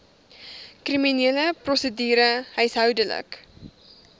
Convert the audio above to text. kriminele prosedure huishoudelike